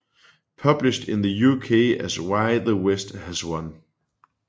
Published in the UK as Why the West has Won